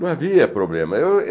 Não havia problema. Eu